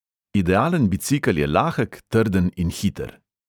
Idealen bicikel je lahek, trden in hiter.